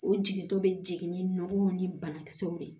O jigintɔ bɛ jigin ni nɔn ni banakisɛw de ye